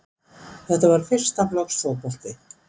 Þetta var fyrsta flokks fótbolti